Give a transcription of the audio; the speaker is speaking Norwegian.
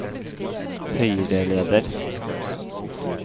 høyreleder